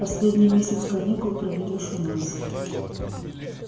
последний месяц каникул проведёшь у нас